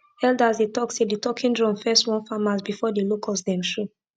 elders dey talk say the talking drum first warn farmers before the locust dem show